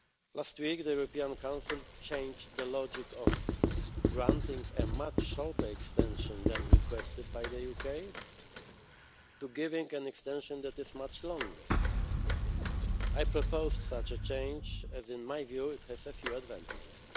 Last week, the European Council changed the logic of granting a much shorter extension than requested by the UK, to giving an extension that is much longer. I proposed such a change, as in my view it has a few advantages.